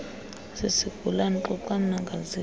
sisigulana xoxani nangaziphi